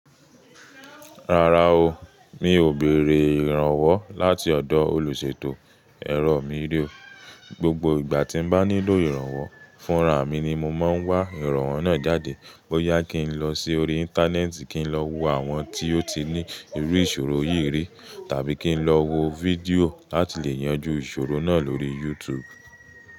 Rárá o, mi ò bèèrè ìrànwọ́ láti ọ̀dọ̀ olùṣètò ẹ̀rọ míí ri ó. Gbogbo ìgbà tí mo bá nílò ìrànwọ́ fún ra mi ni mo máa ń wá ìrànwọ́ náà jáde. Bo yá kí n lọ sí orí Íńtánẹ́ẹ̀tì kí n lọ wo àwọn tí ó ti ní irú ìṣòro yìí rí tàbí kí n lọ wo fídíò láti lè yanjú ìṣòro náà lórí YouTube.